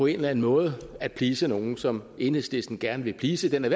eller anden måde at please nogle som enhedslisten gerne vil please den er